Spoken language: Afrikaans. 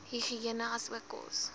higïene asook kos